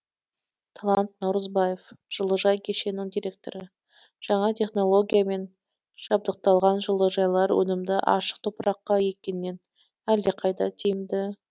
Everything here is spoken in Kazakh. талант наурызбаев жылыжай кешенінің директоры жаңа технологиямен жабдықталған жылыжайлар өнімді ашық топыраққа еккеннен әлдеқайда тиімді